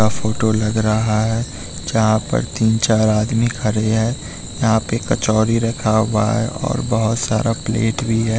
आ photo लग रहा है जहाँ पर तीन-चार आदमी खड़े हैं यहाँ पे कचौड़ी रखा हुआ है और बहुत सारा प्लेट भी है।